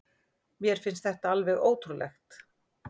Mér finnst þetta alveg ótrúlegt